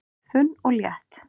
Þunn og létt